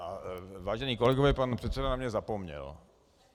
Vážení kolegové, pan předseda na mě zapomněl.